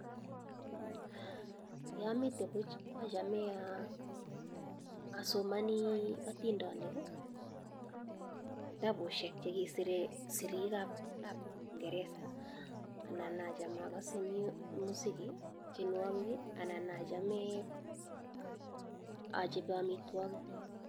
Ye amite puch achame asomani atindanik kitabushek chekisire sirik ap ngeresa anan achame musiki tienwokik , anan achame achape amitwokik.